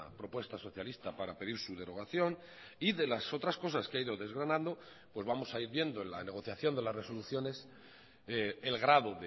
propuesta socialista para pedir su derogación y de las otras cosas que ha ido desgranando pues vamos a ir viendo en la negociación de las resoluciones el grado